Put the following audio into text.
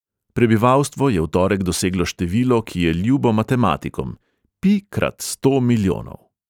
Prebivalstvo je v torek doseglo število, ki je ljubo matematikom: pi krat sto milijonov.